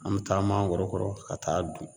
An bɛ taa mangoro kɔrɔ ka taa'a dun.